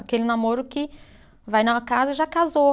Aquele namoro que vai numa casa e já casou.